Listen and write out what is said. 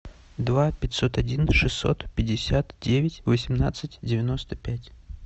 два пятьсот один шестьсот пятьдесят девять восемнадцать девяносто пять